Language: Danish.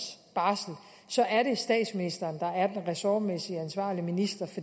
barsel så er det statsministeren der er den ressortmæssigt ansvarlige minister